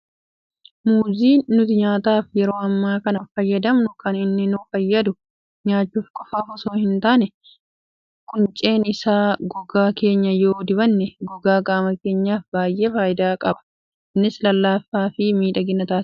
Muuziin nuti nyaataaf yeroo ammaa kana fayyadamnu kan inni nu fayyadu nyaachuu qofaaf osoo hin taane, qunceen isaa gogaa keenya yoo dibanne gogaa qaama keenyaaf baay'ee fayidaa qaba. Innis lallaafaa fi miidhagaa taasisa.